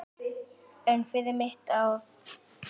En fyrir mitt ár?